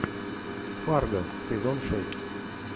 фарго сезон шесть